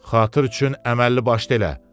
Xatır üçün əməlli başlı elə.